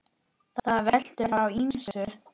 Það veltur á ýmsu.